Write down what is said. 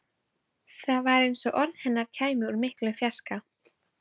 Það var eins og orð hennar kæmu úr miklum fjarska.